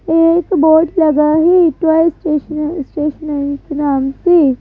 एक बोर्ड लगा है टवाई स्टेश स्टेशनरी के नाम से--